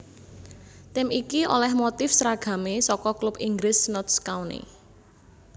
Tim iki olèh motif seragamé saka klub Inggris Notts County